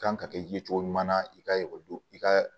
Kan ka kɛ ye cogo ɲuman na i ka ekɔli i ka